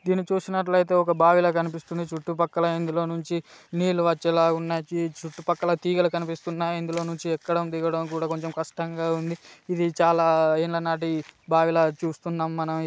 దీన్ని చూసినట్లయితే ఒక బావిలాగా కనిపిస్తుంది చుట్టూ పక్కల ఇందులోనుంచి నీళ్లు వచ్చేలా ఉన్నాయి దీన్ని చుట్టూ పక్కల తీగలు కనిపిస్తున్నాయి ఇందులోనుంచి ఎక్కడం దిగటం కూడ కొంచం కష్టంగా ఉంది ఇది చాలా యేండ్ల నాటి భావి లా చూస్తున్నాం మనం